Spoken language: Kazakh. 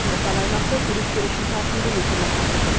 сондықтан аймақты туристер үшін тартымды ету мақсаты тұр